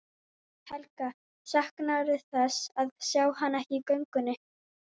Helga: Saknarðu þess að sjá hana ekki í göngunni?